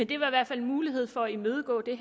bliver i hvert fald mulighed for at imødegå det